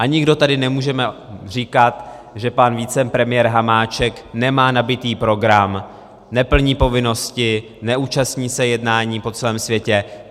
A nikdo tady nemůžeme říkat, že pan vicepremiér Hamáček nemá nabitý program, neplní povinnosti, neúčastní se jednání po celém světě.